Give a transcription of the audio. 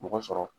Mɔgɔ sɔrɔ